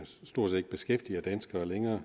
stort set ikke beskæftiger danskere længere